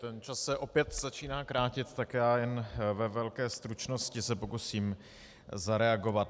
Ten čas se opět začíná krátit, tak já jen ve velké stručnosti se pokusím zareagovat.